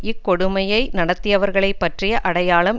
இக்கொடுமையை நடத்தியவர்களை பற்றிய அடையாளம்